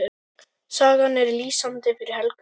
Sagan er lýsandi fyrir Helgu.